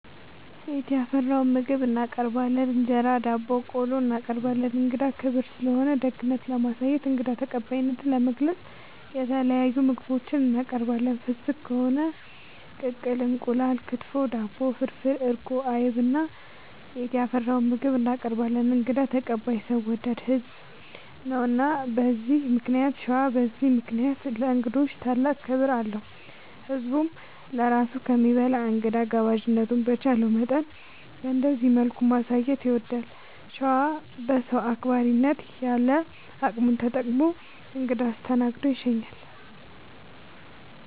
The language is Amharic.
ቤት ያፈራውን ምግብ እናቀርባለን እንጀራ፣ ዳቦናቆሎ እናቀርባለን። እንግዳ ክብር ስለሆነ ደግነት ለማሳየትና እንግዳ ተቀባይነትን ለመግለፅ የተለያዩ ምግቦች እናቀርባለን። ፍስግ ከሆነ ቅቅል እንቁላል፣ ክትፎ፣ አትክልት፣ ዳቦ፣ ፍርፍር፣ እርጎ፣ አይብ እና ቤት ያፈራውን ምግብ እናቀርባለን እንግዳ ተቀባይ ሰው ወዳድ ህዝብ ነው። እና በዚህ ምክንያት ሸዋ በዚህ ምክንያት ለእንግዶች ታላቅ ክብር አለው። ህዝብም ለራሱ ከሚበላ እንግዳ ጋባዥነቱን በቻለው መጠን በእንደዚህ መልኩ ማሳየት ይወዳል። ሸዋ በሰው አክባሪነት ያለ አቅሙን ተጠቅሞ እንግዳ አስደስቶ ይሸኛል።